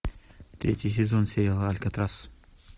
третий сезон сериала алькатрас